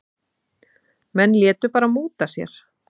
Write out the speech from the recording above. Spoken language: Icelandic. Menn létu bara múta sér.